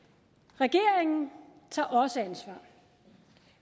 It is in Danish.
regeringen tager også ansvar